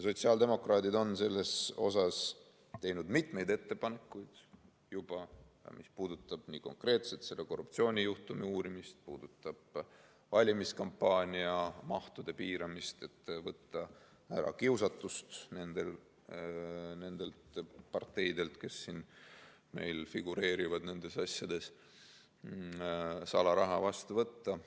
Sotsiaaldemokraadid on selleks teinud juba mitmeid ettepanekuid, mis puudutavad konkreetselt selle korruptsioonijuhtumi uurimist, valimiskampaania mahtude piiramist, et võtta ära kiusatus nendel parteidel, kes meil siin nendes asjades figureerivad, salaraha vastu võtta.